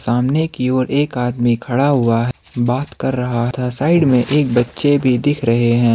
सामने की ओर एक आदमी खड़ा हुआ है बात कर रहा था साइड में एक बच्चे भी दिख रहे हैं।